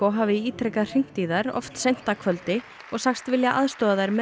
hafi ítrekað hringt í þær oft seint að kvöldi og sagst vilja aðstoða þær með